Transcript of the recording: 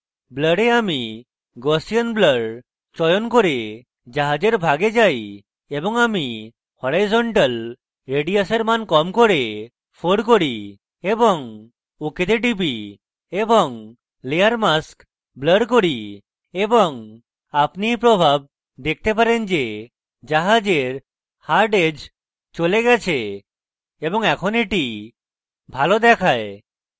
blur এ আমি gaussian blur চয়ন করে জাহাজের ভাগে যাই এবং আমি horizontal রেডিয়সের মান কম করে 4 করি এবং ok তে টিপি এবং layer mask blur করি এবং আপনি in প্রভাব দেখতে পারেন যে জাহাজের hard edge চলে গেছে এবং in এটি ভালো দেখায়